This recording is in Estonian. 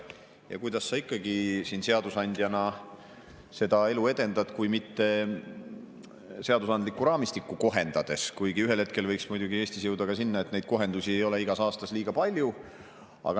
Kuidas sa ikka siin seadusandjana seda elu edendad, kui mitte seadusandlikku raamistikku kohendades, kuigi ühel hetkel võiks muidugi Eestis jõuda sinna, et neid kohendusi ei oleks igas aastas liiga palju.